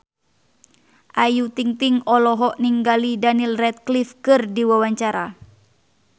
Ayu Ting-ting olohok ningali Daniel Radcliffe keur diwawancara